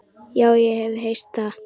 Já, ég hef heyrt það.